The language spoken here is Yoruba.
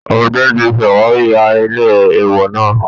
Ọdẹ tí ṣàwárí ahéré èèwọ̀ náà